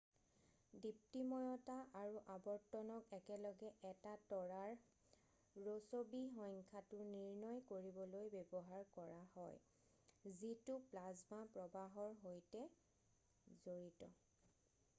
দীপ্তিময়তা আৰু আৱৰ্তনক একেলগে এটা তৰাৰ ৰ'ছবি সংখ্যাটো নিৰ্ণয় কৰিবলৈ ব্যৱহাৰ কৰা হয় যিটো প্লাজমা প্ৰৱাহৰ সৈতে জড়িত